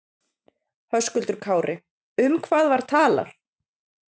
Höskuldur Kári: Um hvað var talað?